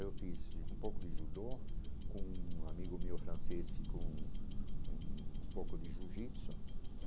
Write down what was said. Eu fiz um pouco de judô, com um amigo meu francês, fiz com um pouco de Jiu-Jitsu.